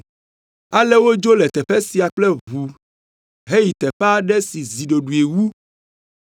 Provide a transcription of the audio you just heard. Ale wodzo le teƒe sia kple ʋu heyi teƒe aɖe si zi ɖoɖoe wu,